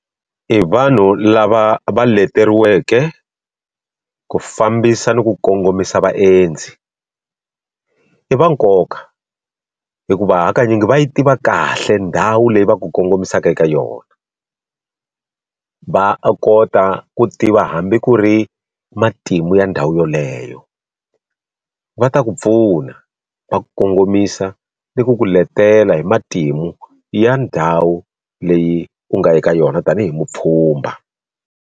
I vanhu lava va leteriweke ku fambisa ni ku kongomisa vaendzi i va nkoka hikuva hakanyingi va yi tiva kahle ndhawu leyi va ku kongomisaka eka yona va kota ku tiva hambi ku ri matimu ya ndhawu yoleyo va ta ku pfuna va kongomisa ni ku ku letela hi matimu ya ndhawu leyi u nga ya eka yona tanihi mupfhumba.